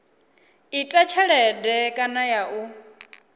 ita tshelede kana ya u